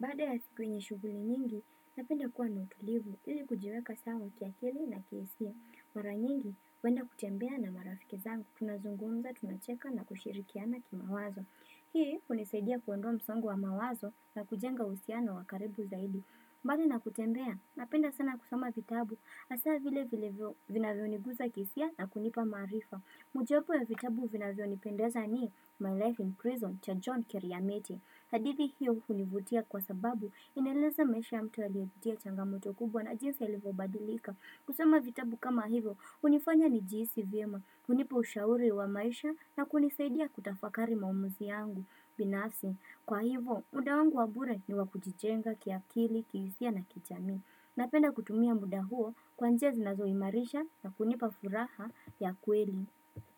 Bada ya siku yenye shuguli nyingi, napenda kuwa na utulivu ili kujiweka sawa kiakili na kihisia. Mara nyingi, huenda kutembea na marafiki zangu, tunazungunza, tunacheka na kushirikiana kimawazo. Hii, unisaidia kuondoa msongo wa mawazo na kujenga usihano wa karibu zaidi. Bali na kutembea, napenda sana kusoma vitabu, asaa vile vile vina vioniguza kihisia na kunipa marifa. Moja wapo ya vitabu vinavyo nipendeza ni my Life in Prison cha John Keriamiti hadithi hiyo hunivutia kwa sababu inaeleza maisha ya mtu aliye pitia changamoto kubwa na jinsi alivyo badilika. Kusoma vitabu kama hivyo, unifanya ni jihisi vyema, hunipa ushauri wa maisha na kunisaidia kutafakari maumuzi yangu. Binafsi, kwa hivo, muda wangu wabure ni wakujijenga kiakili, kihisia na kijami. Napenda kutumia muda huo kwa njia zinazoimarisha na kunipa furaha ya kweli.